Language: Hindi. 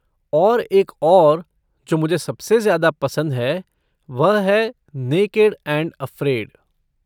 और एक और जो मुझे सबसे ज्यादा पसंद है, वह है नेकेड एंड अफ़्रेड।